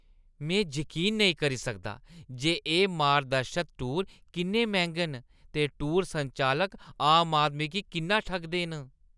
में जकीन नेईं करी सकदा जे एह् मार्गदर्शत टूर किन्ने मैंह्गे न ते टूर संचालक आम आदमी गी किन्ना ठगदे न।